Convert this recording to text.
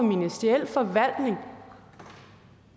ministeriel forvaltning